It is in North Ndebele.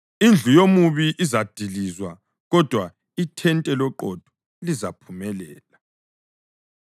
Indlu yomubi izadilizwa, kodwa ithente loqotho lizaphumelela.